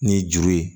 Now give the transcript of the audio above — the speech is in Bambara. Ni juru ye